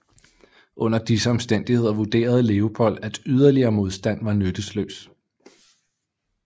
Under disse omstændigheder vurderede Leopold at yderligere modstand var nytteløs